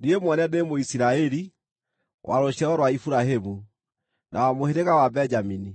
Niĩ mwene ndĩ Mũisiraeli, wa rũciaro rwa Iburahĩmu, na wa mũhĩrĩga wa Benjamini.